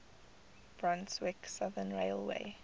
brunswick southern railway